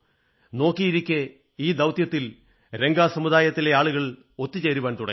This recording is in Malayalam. നോക്കിയിരിക്കെ ഈ ദൌത്യത്തിൽ രംഗ സമുദായത്തിലെ ആളുകൾ ഒത്തുചേരുവാൻ തുടങ്ങി